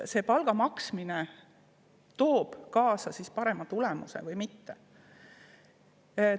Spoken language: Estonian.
Kas palga maksmine toob kaasa parema tulemuse või mitte?